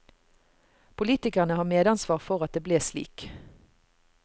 Politikerne har medansvar for at det ble slik.